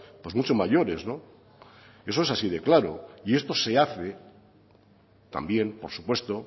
pues mucho mayores eso es así de claro y esto se hace también por supuesto